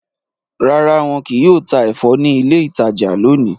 Rara, wọn kìí yóò ta ẹfọ ni ilé ìtajà lóni